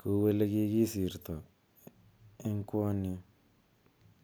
kou ele kikisirtaa en kwony yuu.